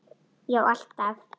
Já alltaf.